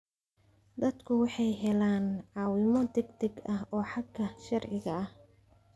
Dadku waxay helaan caawimo degdeg ah oo xagga sharciga ah.